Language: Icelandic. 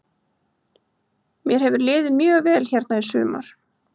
Mér hefur liðið mjög vel hérna í sumar.